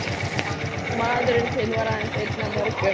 Maðurinn þinn var aðeins einn af mörgum.